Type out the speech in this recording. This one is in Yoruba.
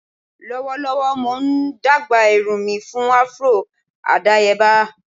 Lọwọlọwọ Mo n dagba irun mi fun afro adayeba.